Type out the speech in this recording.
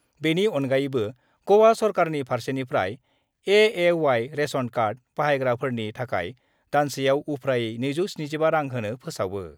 बेनि अनगायैबो गवा सरकारनि फारसेनिफ्राय एएवाइ रेशन कार्ड बाहायग्राफोरनि थाखाय दानसेयाव उफ्रायै 275 रां होनो फोसावयो।